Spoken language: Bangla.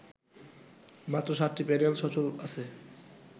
মাত্র ৭টি প্যানেল সচল আছে